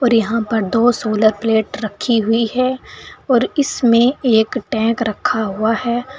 यहां पर दो सोलर प्लेट रखे हुए है और इसमें एक टैक रखा हुआ हैं।